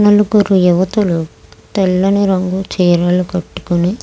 నలుగురు యువతులు తెల్లని రంగు చీరలను కట్టుకొని --